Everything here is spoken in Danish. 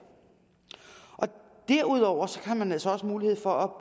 derudover har man altså også mulighed for